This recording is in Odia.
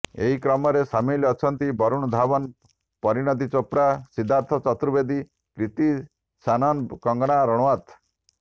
ଏହି କ୍ରମରେ ସାମିଲ ଅଛନ୍ତି ବରୁଣ ଧୱନ ପରିଣୀତି ଚୋପ୍ରା ସିଦ୍ଧାର୍ଥ ଚତୁର୍ବେଦୀ କ୍ରିତି ସାନନ କଙ୍ଗନା ରଣାୱତ